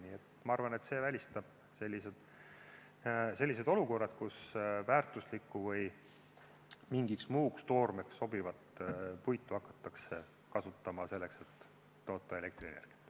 Nii et ma arvan, et see välistab sellised olukorrad, kus väärtuslikku või mingiks muuks toormeks sobivat puitu hakatakse kasutama selleks, et toota elektrienergiat.